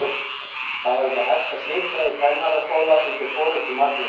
Það var ekki hægt að sitja í kennaraskóla undir forystu Magnúsar